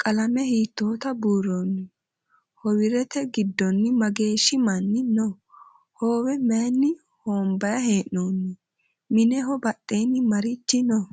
qalame hiitota buuroni? howrte gidonni mageshi manni noo? howe mayinni honbayi he'nonni? mineho badhenni maarichi noo?